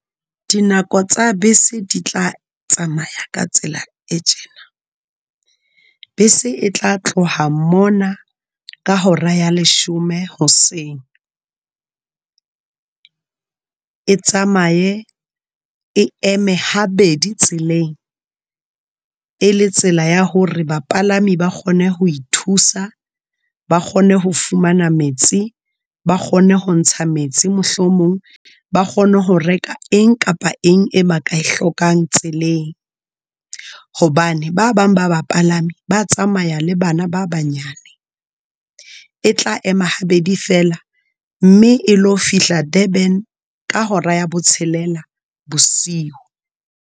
Dinako tsa bese di tla tsamaya ka tsela e tjena. Bese e tla tloha mona ka hora ya leshome hoseng. E tsamaye, e eme habedi tseleng. E le tsela ya hore bapalami ba kgone ho ithusa. Ba kgone ho fumana metsi, ba kgone ho ntsha metsi mohlomong. Ba kgone ho reka eng kapa eng e ba ka e hlokang tseleng. Hobane ba bang ba ba palami ba tsamaya le bana ba banyane. E tla ema ha bedi fela, mme e lo fihla Durban ka hora ya botshelela bosiu.